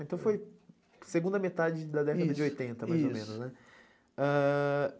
Então foi segunda metade, isso, da década, isso, de oitenta, mais ou menos, né?